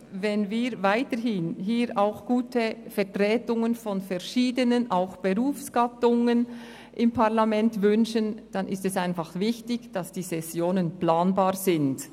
Wenn wir weiterhin auch gute Vertretungen verschiedener Berufsgattungen wünschen, ist es wichtig, dass die Sessionen planbar sind.